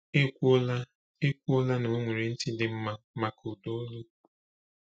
Ekwuola Ekwuola na o nwere ntị dị mma maka ụda olu.